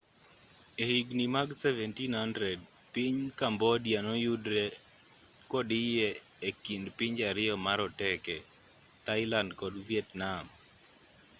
e higni mag 1700 piny cambodia noyudre kodiye ekind pinje ariyo maroteke thailand kod vietnam